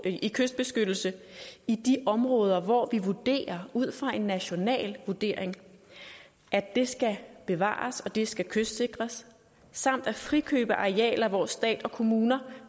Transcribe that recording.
i kystbeskyttelse i de områder hvor vi vurderer ud fra en national vurdering at det skal bevares og at det skal kystsikres samt at frikøbe arealer hvor stat og kommuner